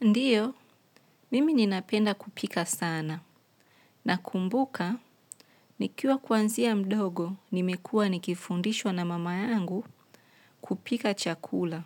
Ndiyo, mimi ninapenda kupika sana, na kumbuka, nikiwa kwanzia mdogo nimekua nikifundishwa na mama yangu kupika chakula,